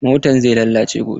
Motan zai lalace gobe.